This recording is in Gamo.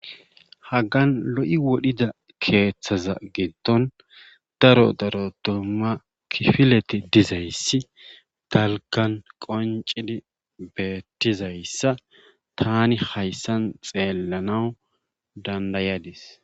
Haggan lo7i wodhida keethaza giddon daro daro dumma kifileti dizayssa dalggan qonccidi beettizayssa taani hayssan xeellanaw danddayadis.